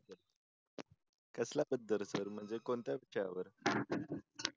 कसल्या बद्दल असं म्हणजे कोणत्या ह्याच्याबद्दल?